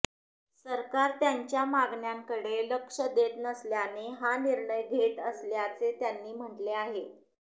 सरकार त्यांच्या मागण्यांकडे लक्ष देत नसल्याने हा निर्णय घेत असल्याचे त्यांनी म्हणले आहे